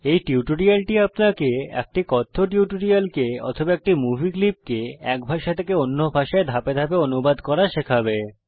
এই টিউটোরিয়ালটি আপনাকে একটি কথ্য টিউটোরিয়ালকে অথবা একটি মুভি ক্লিপকে এক ভাষা থেকে অন্য ভাষায় ধাপে ধাপে অনুবাদ করা শেখাবে